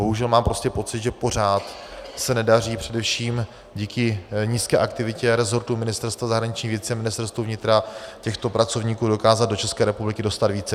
Bohužel mám prostě pocit, že pořád se nedaří především díky nízké aktivitě resortu Ministerstva zahraničních věcí a Ministerstva vnitra těchto pracovníků dokázat do České republiky dostat více.